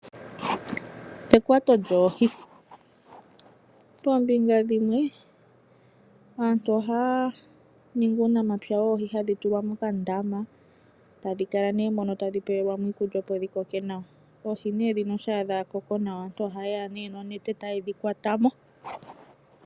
Ekwato lyoohi. Poombinga dhimwe aantu ohaya ningi uunamapya woohi hadhi tulwa mokandama tadhi kala mono tadhi pelwamo iikulya opo dhi koke nawa . Oohi shampa dha koko nawa aantu oha yeya nee nonete ta yedhi kwatamo.